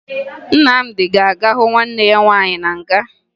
Nnamdị ga-aga hụ nwanne ya nwaanyị na nga